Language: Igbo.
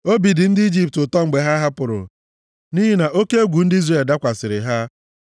Obi dị Ijipt ụtọ mgbe ha pụrụ, nʼihi na oke egwu ndị Izrel dakwasịrị ha.